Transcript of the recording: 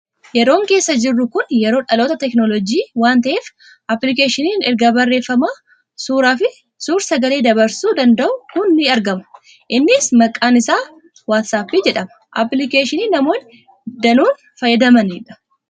Yeroon keessa jirru kuni yeroo dhaloota teekinooloojii waan ta'eef, appilikeeshiniin ergaa barreeffamaa, suuraa fi suur sagalee dabarsuu danda'u kun ni argama. Innis maqaan isaa Waatsaappii jedhama. Appilikeeshinii namoonni danuun fayyadamanidha.